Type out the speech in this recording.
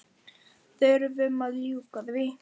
Þurfum að ljúka því.